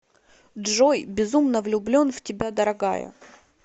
джой безумно влюблен в тебя дорогая